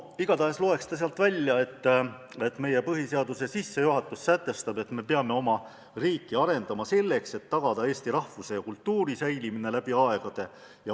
Igatahes loeks ta sealt välja, et meie põhiseaduse sissejuhatus sätestab, et peame oma riiki arendama, tagamaks eesti rahvuse ja kultuuri säilimine läbi aegade.